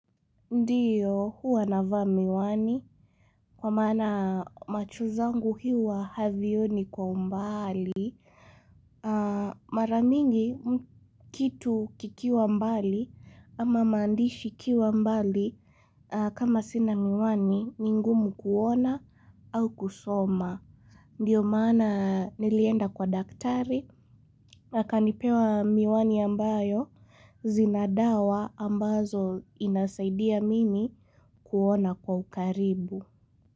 Ndiyo huwa navaa miwani kwa maana macho zangu huwa havioni kwa umbali. Mara mingi kitu kikiwa mbali ama maandishi ikiwa mbali kama sina miwani ni ngumu kuona au kusoma. Ndiyo maana nilienda kwa daktari akanipea miwani ambayo zina dawa ambazo inasaidia mimi. Kuona kwa ukaribu.